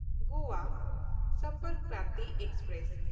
Goa Sampark Kranti express